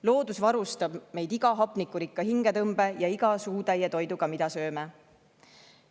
Loodus varustab meid iga hapnikurikka hingetõmbega ja iga suutäie toiduga, mida sööme.